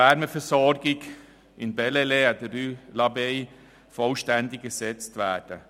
Die Wärmeversorgung des Gebäudes an der Rue de l’Abbaye in Bellelay soll vollständig ersetzt werden.